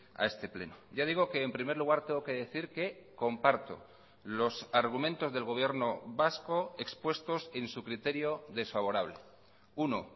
a este pleno ya digo que en primer lugar tengo que decir que comparto los argumentos del gobierno vasco expuestos en su criterio desfavorable uno